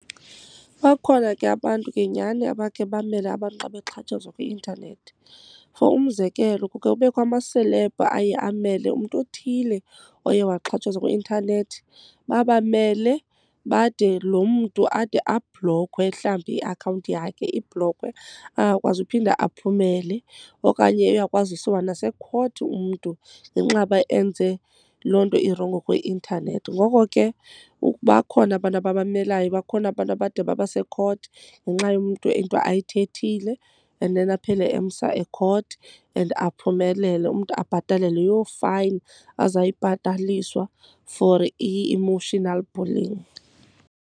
Bakhona ke abantu ke nyani abakhe bamele abantu xa bexhatshazwa kwi-intanethi. For umzekelo, kuke kubekho amaselebhu aye amele umntu othile oye waxhatshazwa kwi-intanethi. Babamele bade loo mntu ade ablokhwe, mhlawumbi iakhawunti yakhe. Ibhlokhwe angakwazi uphinda aphumele. Okanye uyakwazi ukusiwa nasekhothi umntu ngenxa yoba enze loo nto irongo kwi-intanethi. Ngoko ke bakhona abantu ababamelayo, bakhona abantu abade babase ekhothi ngenxa yomntu into ayithethile and then aphele emsa ekhothi and aphumelele. Umntu abhatale leyo fine azayibhataliswa for i-emotional bullying.